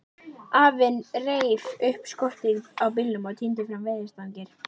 Lillu var orðið kalt á göngunni.